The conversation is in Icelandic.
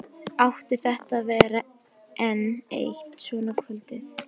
Átti þetta að vera enn eitt svona kvöldið?